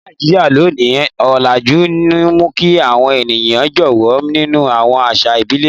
Ní Nàìjíríà lónìí, ọlajú ń mú kí àwọn ènìyàn jáwọ́ nínú àwọn àṣà ìbílẹ̀.